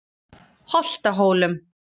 Holtahólum